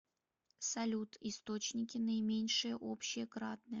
салют источники наименьшее общее кратное